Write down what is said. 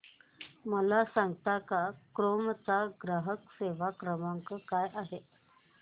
मला सांगता का क्रोमा चा ग्राहक सेवा क्रमांक काय आहे